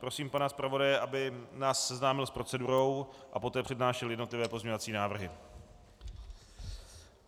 Prosím pana zpravodaje, aby nás seznámil s procedurou a poté přednášel jednotlivé pozměňovací návrhy.